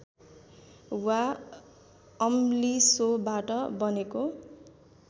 वा अम्लिसोबाट बनेको